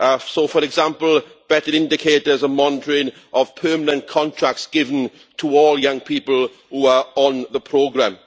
So far example, better indicators and monitoring of permanent contracts given to all young people who are on the programme.